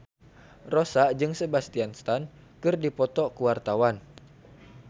Rossa jeung Sebastian Stan keur dipoto ku wartawan